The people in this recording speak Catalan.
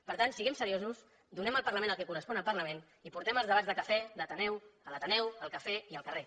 per tant siguem seriosos donem al parlament el que correspon al parlament i portem els debats de cafè d’ateneu a l’ateneu al cafè i al carrer